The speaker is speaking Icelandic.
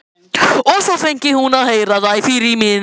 Og svo fengi hún að heyra það í frímínútunum.